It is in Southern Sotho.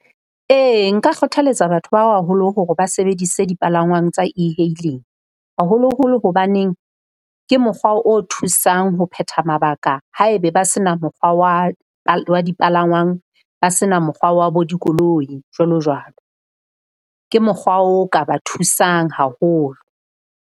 Ee nka kgothaletsa batho ba baholo hore ba sebedise dipalangwang tsa e-hailing. Haholoholo hobaneng ke mokgwa o thusang ho phetha mabaka haebe ba se na mokgwa wa dipalangwang, ba se na mokgwa wa bo dikoloi, jwalo jwalo. Ke mokgwa o ka ba thusang haholo.